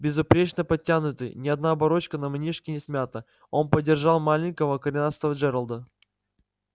безупречно подтянутый ни одна оборочка на манишке не смята он поддерживал маленького коренастого джералда